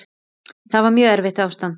Þetta var mjög erfitt ástand.